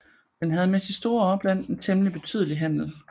Den havde med sit store opland en temmelig betydelig handel